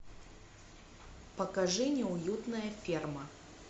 покажи неуютная ферма